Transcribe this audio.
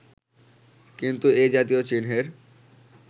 কিন্তু এ-জাতীয় চিহ্নের